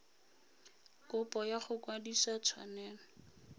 kopo ya go kwadisa tshwanelo